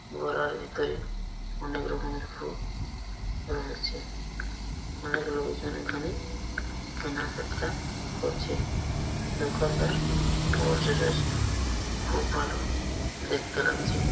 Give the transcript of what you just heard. বড়ার ভেতরে অনেক রকমের ফুল রয়েছে অনেক লোকজন এখানে কেনা কাটা করছে দোকানদার বসে রয়েছ খুব ভালো দেখতে লাগছে।